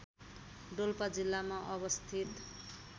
डोल्पा जिल्लामा अवस्थित